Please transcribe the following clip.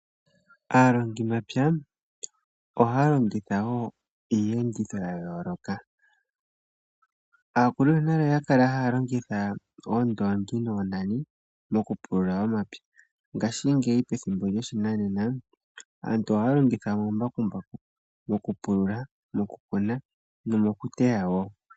Aalongimapya ohaya longitha wo iiyenditho ya yoloka. Aakulu yonale oya kala haya longitha oondoongi noonani mokupulula omapya, ngaashingeyi methimbo lyoshinanena, aantu ohaya longitha omambakumbaku mokupulula mokukuna nomokuteya wo.